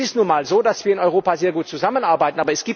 Es ist nun mal so, dass wir in Europa sehr gut zusammenarbeiten.